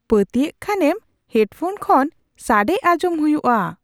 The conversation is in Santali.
ᱯᱟᱹᱛᱭᱟᱹᱜ ᱠᱷᱟᱱᱮᱢ ᱦᱮᱰ ᱯᱷᱳᱱ ᱠᱷᱚᱱ ᱥᱟᱹᱰᱮ ᱟᱸᱡᱚᱢ ᱦᱩᱭᱩᱜᱼᱟ ᱾